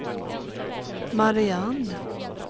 Mariann